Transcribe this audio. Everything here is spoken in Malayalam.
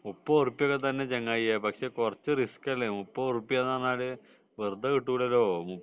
മുപ്പത് ഉറുപ്പിക ഒക്കെ തന്നെ ചങ്ങാതി പക്ഷെ കുറച്ചു റിസ്ക് അല്ലെ മുപ്പത് ഉറുപ്പിക എന്ന് പറഞ്ഞാൽ വെറുതെ കിട്ടൂല്ലല്ലോ